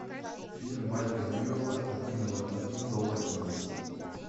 фильм майка ньюэла один ноль один долматинец